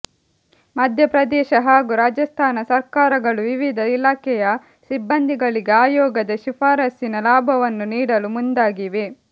ಮಧ್ಯಪ್ರದೇಶ ಹಾಗೂ ರಾಜಸ್ಥಾನ ಸರ್ಕಾರಗಳು ವಿವಿಧ ಇಲಾಖೆಯ ಸಿಬ್ಬಂದಿಗಳಿಗೆ ಆಯೋಗದ ಶಿಫಾರಸ್ಸಿನ ಲಾಭವನ್ನು ನೀಡಲು ಮುಂದಾಗಿವೆ